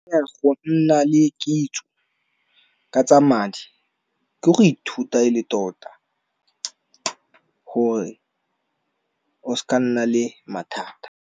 Go nna le kitso ka tsa madi ke go ithuta e le tota gore o seka nna le mathata.